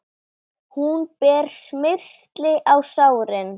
Hún ber smyrsli á sárin.